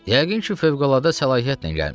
Yəqin ki, fövqəladə səlahiyyətlə gəlmisiz?